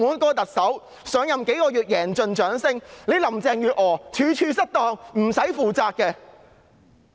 澳門特首上任數月便贏盡掌聲，林鄭月娥則處處失當又不負責任。